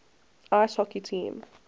ice hockey team